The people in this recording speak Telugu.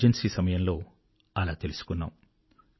ఎమర్జెన్సీ సమయంలో అలా తెలుసుకున్నాము